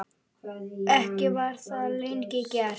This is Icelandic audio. Ekki var það lengi gert.